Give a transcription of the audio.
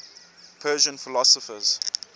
persian philosophers